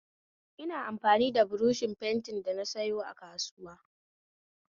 Ina amfani da buroshin fentin da nasayo a kasuwa